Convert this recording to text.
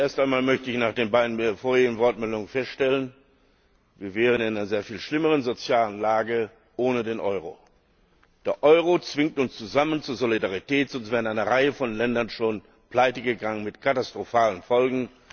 Zuerst einmal möchte ich nach den beiden vorangegangenen Wortmeldungen feststellen Wir wären in einer sehr viel schlimmeren sozialen Lage ohne den Euro. Der Euro zwingt uns zusammen zu Solidarität, sonst wäre eine Reihe von Ländern schon pleitegegangen mit katastrophalen Folgen.